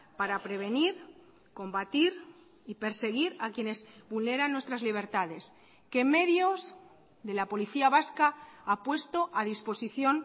para prevenir combatir y perseguir a quienes vulneran nuestras libertades qué medios de la policía vasca ha puesto a disposición